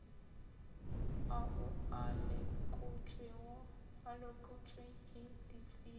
ao a lekotšwe ke ditsebi